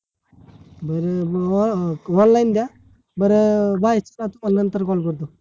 बरोबर बाबा online द्या बर बाईस चाच call आहे नंतर call करतो